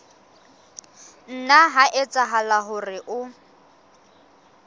nna ha etsahala hore o